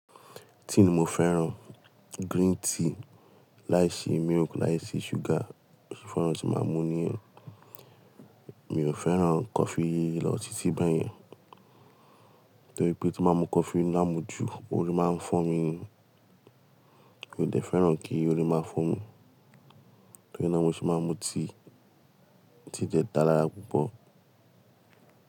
Tea ni mo fẹ́ràn. Green tea láìsí milk láìsí sugar. Ó ṣe fún oun tí máa mú nìyẹn. Mi ò fẹ́ràn coffee lọ títí báyẹn. Torí pé tí máa mu coffee l'ámu jù, orí máa ń fọ́ mi. Mi ò dẹ̀ fẹ́ràn kí orí máa fọ́ mi. Torí náà mo ṣì máa ń mu tea. Tea dẹ̀ dára púpọ̀.